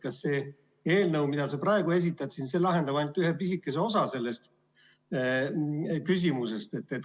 See eelnõu, mida sa praegu esitled, lahendab ainult ühe pisikese osa sellest küsimusest.